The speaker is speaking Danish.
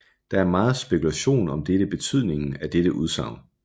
Der er megen spekulation om dette betydningen af dette udsagn